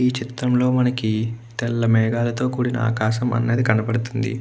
ఈ చిత్రంలో మనకి తెల్ల మేగాలతో కూడిన ఆకాశం అన్నది కనపడుతుంది.